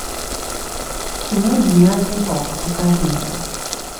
кино гениальный папа покажи мне